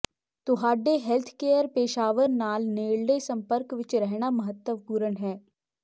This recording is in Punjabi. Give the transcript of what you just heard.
ਤੁਹਾਡੇ ਹੈਲਥਕੇਅਰ ਪੇਸ਼ਾਵਰ ਨਾਲ ਨੇੜਲੇ ਸੰਪਰਕ ਵਿੱਚ ਰਹਿਣਾ ਮਹੱਤਵਪੂਰਨ ਹੈ